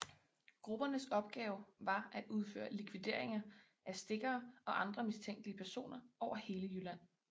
Gruppernes opgave var at udføre likvideringer af stikkere og andre mistænkelige personer over hele Jylland